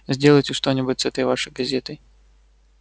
сделайте что-нибудь с этой вашей газетой